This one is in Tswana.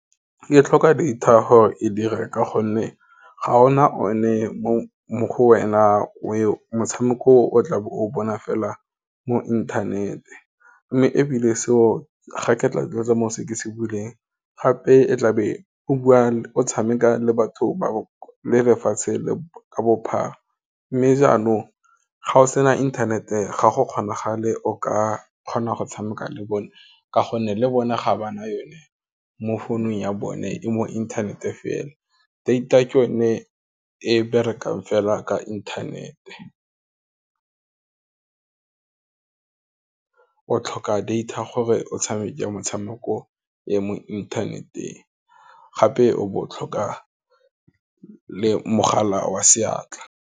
E tlhoka data gore e dire ka gonne ga ona o ne mo go wena motshameko o tla be o bona fela mo inthanete, mme ebile seo ga ke tla mo go seke se buileng, gape e tlabe go bua o tshameka le batho bao, le lefatshe ka bophara. Mme jaanong ga o sena internet-e, ga go kgonagale o ka kgona go tshameka le bone, ka gonne le bone ga bana yone mo founung ya bone e mo internet-e fela, data ke yone e berekang fela ka inthanete, o tlhoka data gore o tshameke metshameko ya mo internet-eng, gape o bo o tlhoka le mogala wa seatla.